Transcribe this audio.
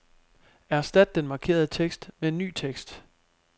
Erstat den markerede tekst med ny tekst.